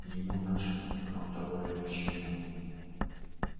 ему наши промтовары ни к чему